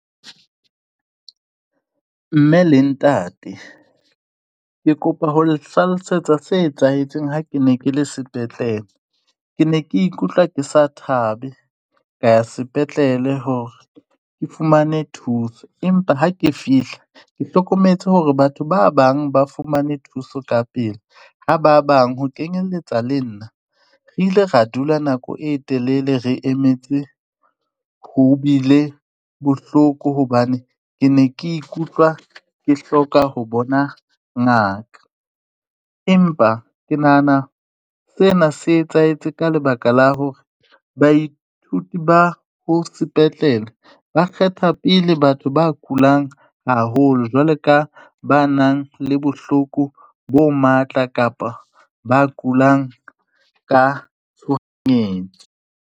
Mme le ntate, ke kopa ho le hlalosetsa se etsahetseng ha ke ne ke le sepetlele, ke ne ke ikutlwa ke sa thabe ka ya sepetlele hore ke fumane thuso, empa ha ke fihla ke hlokometse hore batho ba bang ba fumane thuso ka pele ha ba bang ho kenyeletsa le nna, re ile ra dula nako e telele re emetse, ho bile bohloko hobane ke ne ke ikutlwa ke hloka ho bona ngaka, empa ke nahana sena se etsahetse ka lebaka la hore baithuti ba ho sepetlele, ba kgetha pele batho ba kulang haholo jwalo ka ba nang le bohloko bo matla kapa ba kulang ka tshohanyetso.